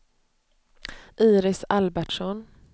Iris Albertsson